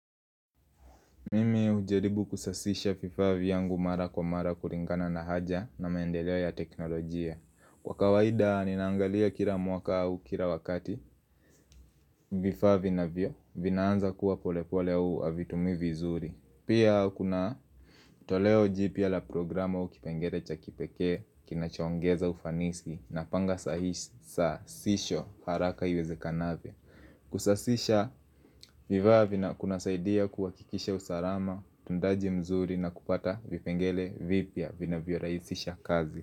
Mimi hujaribu kusasisha vifaa vyangu mara kwa mara kulingana na haja na maendeleo ya teknolojia. Kwa kawaida ninaangalia kila mwaka au kila wakati vifaa vinavyoanza kuwa polepole au havitumiwi vizuri. Pia kuna toleo jipya la programu au kipengele cha kipekee kinachoongeza ufanisi napanga saa hii sasisho haraka iwezekanavyo. Kusasisha vifaa kunasaidia kuwakikisha usalama, uundaji mzuri na kupata vipengele vipya vinavyorahisisha kazi.